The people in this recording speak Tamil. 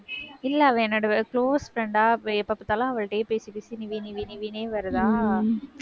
இல்ல அவ என்னோட close friend ஆ எப்ப பாத்தாலும் அவள்ட்டயே பேசி, பேசி நிவி நிவி நிவின்னே வருதா